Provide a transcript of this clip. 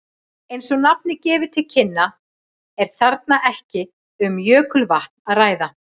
Eins og nafnið gefur til kynna er þarna ekki um jökulvatn að ræða.